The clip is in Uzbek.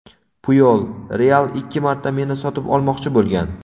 Puyol: "Real" ikki marta meni sotib olmoqchi bo‘lgan".